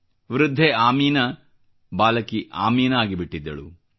ವೃದ್ಧೆ ಆಮೀನಾ ಬಾಲಕಿ ಆಮೀನಾ ಆಗಿಬಿಟ್ಟಿದ್ದಳು